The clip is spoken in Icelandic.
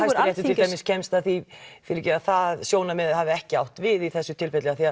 til dæmis kemst að því að það sjónarmið hafi ekki átt við í þessu tilfelli af því